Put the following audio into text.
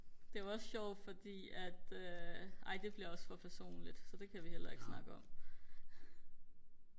det var også sjovt fordi at øh ej det bliver også for personligt så det kan vi heller ikke snakke om